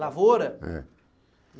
Lavoura? É